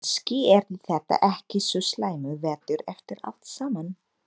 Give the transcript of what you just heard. Kannski yrði þetta ekki svo slæmur vetur eftir allt saman.